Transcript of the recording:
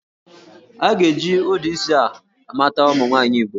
A ga-eji ụdị isi a mata ụmụ nwaanyị Igbo